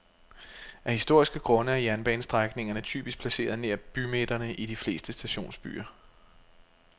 Af historiske grunde er jernbanestrækningerne typisk placeret nær bymidterne i de fleste stationsbyer.